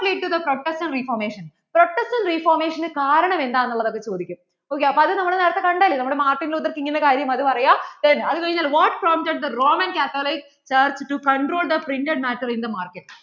is theprotection reformationprotection reformation കാരണം എന്താണ് എന്ന് ഉള്ളത്ചോദിക്കും ok അത് നമ്മൾ നേരത്തെ കണ്ടതല്ലേ നമ്മടെ Martinlutherking അത് പറയ്യ then അത് കഴിഞ്ഞിട്ട് what prompted roman catholic church to control the printed matter in the market